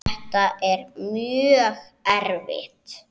Þetta er mjög erfitt.